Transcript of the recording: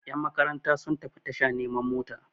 yanmakaranta sun tafi tasha neman mota